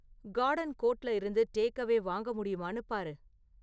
garden கோர்ட்ல இருந்து take away வாங்க முடியுமான்னு பாரு